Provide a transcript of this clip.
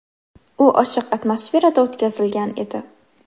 U ochiq atmosferada o‘tkazilgan edi.